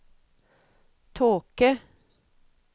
tåke